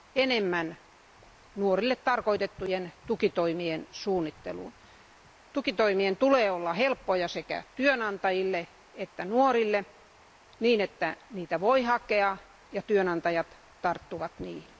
enemmän nuorille tarkoitettujen tukitoimien suunnitteluun. Tukitoimien tulee olla helppoja sekä työnantajille että nuorille niin, että niitä voi hakea ja työnantajat tarttuvat niihin.